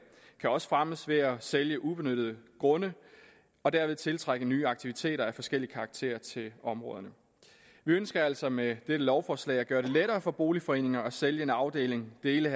kan også fremmes ved at sælge ubenyttede grunde og derved tiltrække nye aktiviteter af forskellig karakter til områderne vi ønsker altså med dette lovforslag at gøre det lettere for boligforeningerne at sælge en afdeling dele